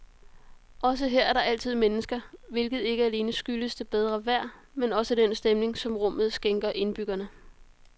Også her er der altid mennesker, hvilket ikke alene skyldes det bedre vejr, men også den stemning, som rummet skænker indbyggerne.